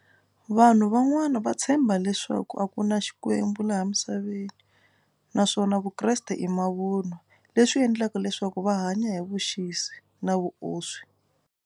Vanhu van'wana va tshemba leswaku a ku na Xikwembu laha emisaveni naswona vukreste i mavunwa leswi endlaka leswaku va hanya hi vuxisi na vuoswi.